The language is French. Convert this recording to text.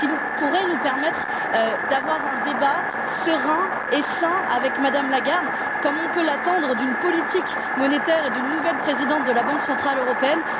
Cela pourrait nous permettre d'avoir un débat serein et sain avec Mme Lagarde, comme on peut l'attendre d'une politique monétaire et d'une nouvelle présidente de la Banque centrale européenne.